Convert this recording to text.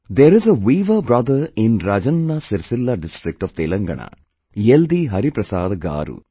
There is a weaver brother in Rajanna Sircilla district of Telangana YeldhiHariprasad Garu